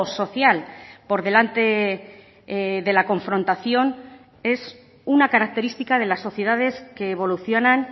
social por delante de la confrontación es una característica de las sociedades que evolucionan